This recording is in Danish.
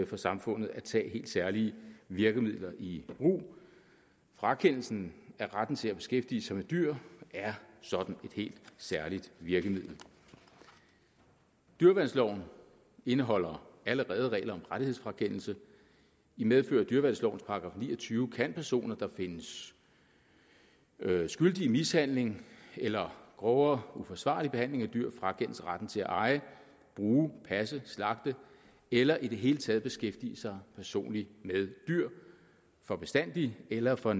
for samfundet at tage helt særlige virkemidler i brug frakendelsen af retten til at beskæftige sig med dyr er sådan et helt særligt virkemiddel dyreværnsloven indeholder allerede regler om rettighedsfrakendelse i medfør af dyreværnslovens § ni og tyve kan personer der findes skyldige i mishandling eller grovere uforsvarlig behandling af dyr frakendes retten til at eje bruge passe slagte eller i det hele taget beskæftige sig personligt med dyr for bestandig eller for